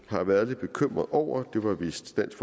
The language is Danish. har været lidt bekymret over det var vist dansk